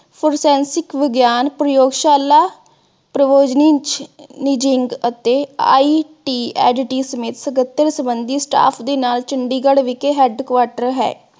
forensic ਵਿਗਿਆਨ, ਪ੍ਰਯੋਗਸ਼ਾਲਾ IC ਅਤੇ ਸਮੇਤ ਸਕੱਤਰ ਸੰਬੰਧੀ staff ਦੇ ਨਾਲ ਚੰਡੀਗੜ੍ਹ ਵਿਖੇ headquarter ਹੈ।